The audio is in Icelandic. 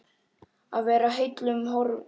Að vera heillum horfin